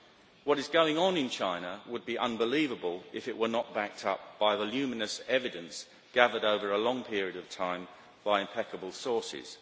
What is going on in China would be unbelievable if it were not backed up by voluminous evidence gathered over a long period of time by impeccable sources.